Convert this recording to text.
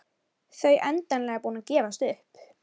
Þau endanlega búin að gefast upp.